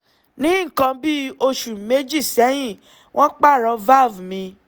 ní nǹkan bí oṣù méjì sẹ́yìn wọ́n pààrọ̀ valve mi